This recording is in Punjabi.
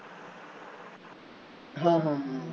ਹਾਂ ਹਾਂ